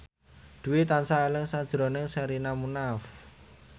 Dwi tansah eling sakjroning Sherina Munaf